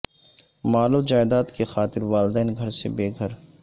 مال و جائیداد کے خاطر والدین گھر سے بے گھر